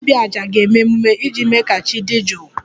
Ndị dibia 'aja' ga-eme emume iji mee ka chi dị jụụ